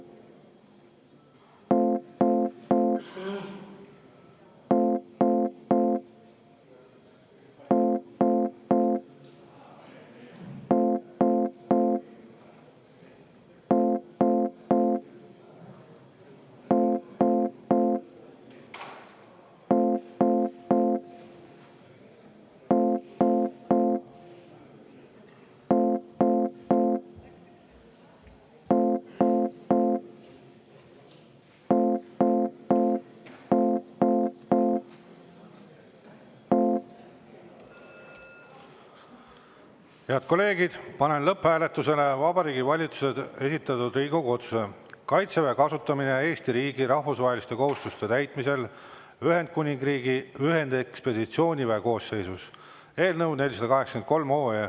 Head kolleegid, panen lõpphääletusele Vabariigi Valitsuse esitatud Riigikogu otsuse "Kaitseväe kasutamine Eesti riigi rahvusvaheliste kohustuste täitmisel Ühendkuningriigi ühendekspeditsiooniväe koosseisus" eelnõu 483.